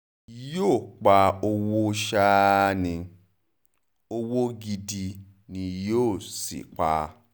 yóò pa owó ṣáá ní owó gidi ni yóò sì pa